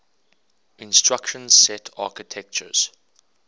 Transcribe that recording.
instruction set architectures